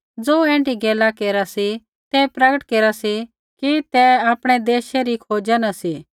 ज़ो ऐण्ढी गैला केरा सी तै प्रगट केरा सी कि तै आपणै देशै री खोजा न सी